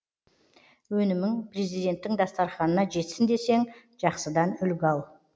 өнімің президенттің дастарханына жетсін десең жақсыдан үлгі ал